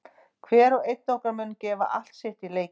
Hver og einn okkar mun gefa allt sitt í leikinn.